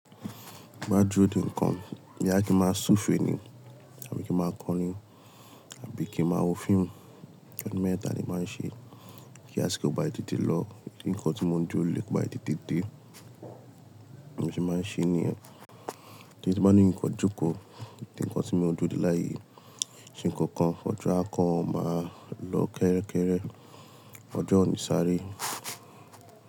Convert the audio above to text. Madoro de nǹkan mj bí à kí máa súfèé ni, àbí kí máa kọrin, àbí kí a máa wo fíìmù, ẹ́dímẹ́ẹ̀tà ni máa ń ṣe, kí a sì kọ́ba ètè téè lọ, ǹkan tí mo ń jó lékòó bá ètè téè dé, òun sì máa ń ṣe ní ẹ̀. Tí ẹ bá ní ǹkan jókòó, ti ǹkan tí mo ń jó òde láàyè ṣe ǹkankan, ọjọ́ àkọ́kọ́ máa lọ kẹ́rẹ́kẹ́rẹ́, ọjọ́ òní sáré.